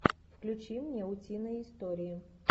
включи мне утиные истории